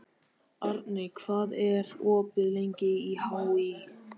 Arney, hvað er opið lengi í HÍ?